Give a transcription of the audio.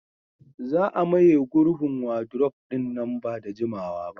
za a maye gurbin wadurof ɗin nan ba da jimawa ba